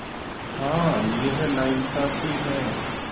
हाँ यह नाइंसाफ़ी है